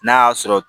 N'a y'a sɔrɔ